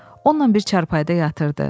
Onunla bir çarpayıda yatırdı.